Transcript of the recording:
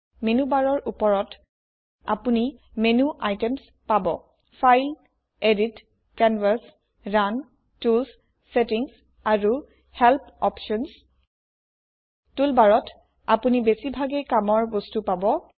menu barৰ ওপৰত আপোনি মেনো আইটেমছ পাব file edit canvas run tools settings আৰু হেল্প অপশ্যনছ টুল barত আপোনি বেছিভাগ কামৰ বস্তু পাব